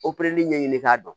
ɲɛɲini k'a dɔn